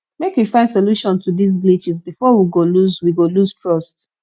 make we find solution to dise glitches before we go lose we go lose trust